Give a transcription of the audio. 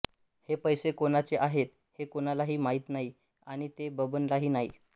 हे पैसे कोणाचे आहेत हे कोणालाही माहिती नाही आणि ते बबनलाही नाही